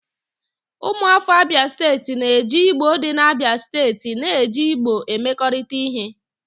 Ụmụafọ Abia Steeti na-eji Igbo dị n'Abia steeti na-eji Igbo emekọrịta ihe.